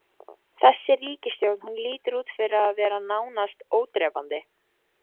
Þessi ríkisstjórn, hún lítur út fyrir að vera nánast ódrepandi?